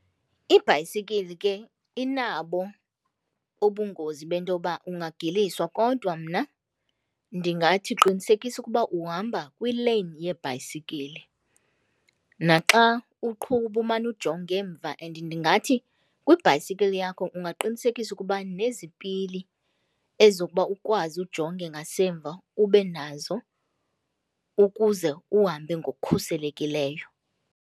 Ibhayisikili ke inabo ubungozi bento yoba ungagiliswa kodwa mna ndingathi qinisekisa ukuba uhamba kwileyini yeebhayisikili. Naxa uqhuba umane ujonga emva and ndingathi kwibhayisikili yakho ungaqinisekisa ukuba nezipili ezokuba ukwazi ujonge ngasemva ube nazo ukuze uhambe ngokukhuselekileyo.